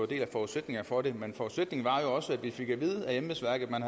del af forudsætningen for det men forudsætningen var jo også at vi fik at vide af embedsværket at man